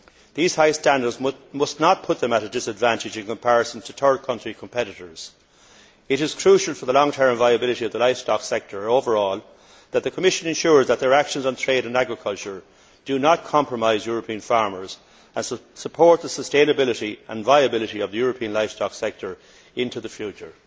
These high standards must not put them at a disadvantage in comparison to third country competitors. It is crucial for the long term viability of the livestock sector overall that the Commission ensure that their actions on trade and agriculture do not compromise European farmers, but support the sustainability and viability of the European livestock sector into the future.